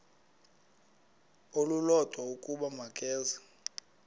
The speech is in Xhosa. olulodwa ukuba makeze